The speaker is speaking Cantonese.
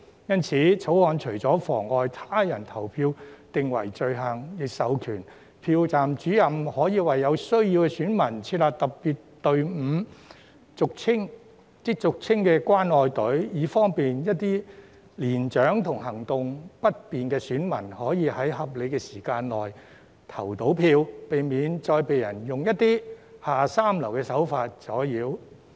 因此，《條例草案》除了將妨礙他人投票訂為罪行，亦授權票站主任為有需要的選民設立特別隊伍，亦即俗稱的"關愛隊"，以方便一些年長和行動不便的選民可在合理時間內投票，避免再遭人以一些下三濫手段阻撓。